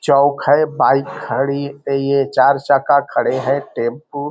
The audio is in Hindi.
चौक है बाइक खड़ी ये चार चक्का खड़े है टेंपू --